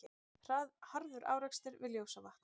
Harður árekstur við Ljósavatn